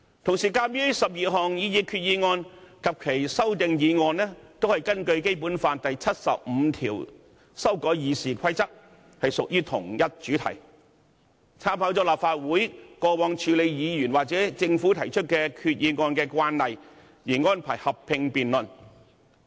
同時，鑒於12項擬議決議案及其修正案均是根據《基本法》第七十五條修改《議事規則》，屬同一主題，經參考立法會過往處理議員或政府提出決議案的慣例，安排進行合併辯論。